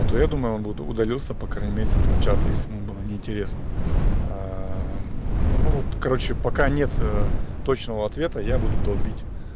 а то я думаю он вот удалился по крайней мере с этого чата если ему было неинтересно ну вот короче пока нет точного ответа я буду долбить